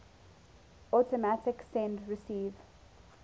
automatic send receive